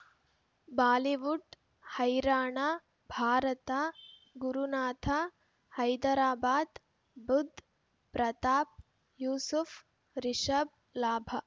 Bollywood ಹೈರಾಣ ಭಾರತ ಗುರುನಾಥ ಹೈದರಾಬಾದ್ ಬುಧ್ ಪ್ರತಾಪ್ ಯೂಸುಫ್ ರಿಷಬ್ ಲಾಭ